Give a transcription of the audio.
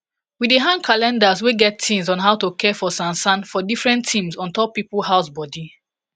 we dey hang calendars wey get tins on how to care for sansan for different tims ontop people house bodi